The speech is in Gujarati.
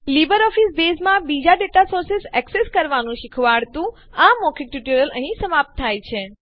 લીબરઓફીસ બેઝમાં બીજા ડેટા સોર્સેઝ માહિતી સ્ત્રોતો એક્સેસ કરવાંનું શીખવાડતું આ મૌખિક ટ્યુટોરીયલ અહીં સમાપ્ત થાય છે